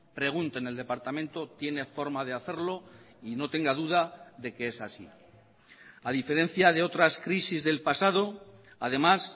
pregunte en el departamento tiene forma de hacerlo y no tenga duda de que es así a diferencia de otras crisis del pasado además